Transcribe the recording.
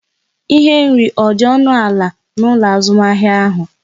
Ihe nri ọ dị ọnụ ala n'ụlọ azụmahịa ahụ?